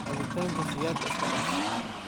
Cabitanka Sigarka iskadaaf.